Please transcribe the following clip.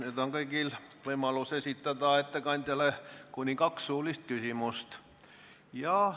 Nüüd on kõigil võimalus esitada ettekandjale kuni kaks suulist küsimust.